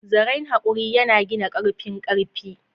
Zaren haƙuri yana gina ƙarfin ƙarfi.